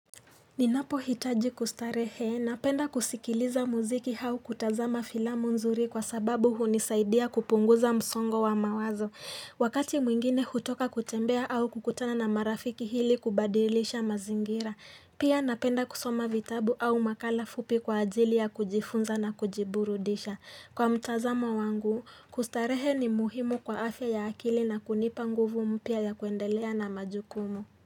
Ninapohitaji kustarehe, napenda kusikiliza muziki au kutazama filamu nzuri kwa sababu hunisaidia kupunguza msongo wa mawazo. Wakati mwingine hutoka kutembea au kukutana na marafiki ili kubadilisha mazingira. Pia napenda kusoma vitabu au makala fupi kwa ajili ya kujifunza na kujiburudisha. Kwa mtazamo wangu, kustarehe ni muhimu kwa afya ya akili na kunipa nguvu mpya ya kuendelea na majukumu.